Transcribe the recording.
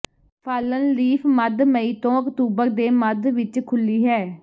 fallen Leaf ਮੱਧ ਮਈ ਤੋਂ ਅਕਤੂਬਰ ਦੇ ਮੱਧ ਵਿਚ ਖੁੱਲ੍ਹੀ ਹੈ